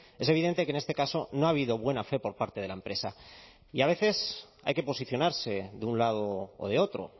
es evidente que en este caso no ha habido buena fe por parte de la empresa y a veces hay que posicionarse de un lado o de otro